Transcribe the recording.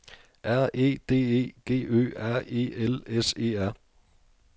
R E D E G Ø R E L S E R